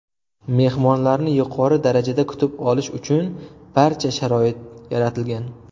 Mehmonlarni yuqori darajada kutib olish uchun barcha sharoit yaratilgan.